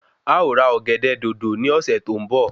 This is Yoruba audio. À o ra Ọ̀gẹ̀dẹ̀ Dòdò ní ọ̀sè tó n bọ